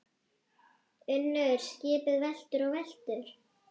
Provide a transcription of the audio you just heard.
UNNUR: Skipið veltur og veltur.